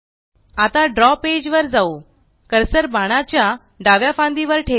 आता द्रव पेज वर जाऊ कर्सर बाणाच्या च्या डाव्या फांदी वर ठेवा